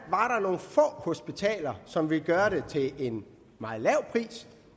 nogle få hospitaler som ville gøre det til en meget lav pris